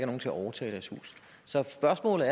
nogen til at overtage deres hus så spørgsmålet